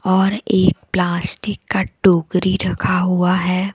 और एक प्लास्टिक का टोकरी रखा हुआ है।